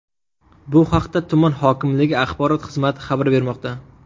Bu haqda tuman hokimligi axborot xizmati xabar bermoqda.